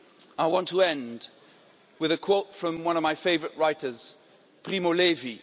I want to end with a quote from one of my favourite writers, Primo Levi.